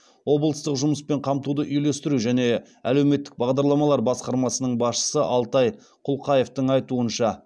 облыстық жұмыспен қамтуды үйлестіру және әлеуметтік бағдарламалар басқармасының басшысы алтай құлқаевтың айтуынша